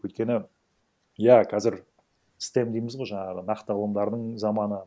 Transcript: өйткені иә қазір стэм дейміз ғой жаңағы нақты ғылымдарының заманы